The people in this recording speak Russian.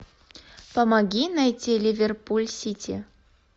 помоги найти ливерпуль сити